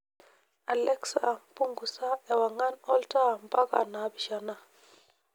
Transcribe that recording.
alexa punguza ewangan olntaa mpaka naapishana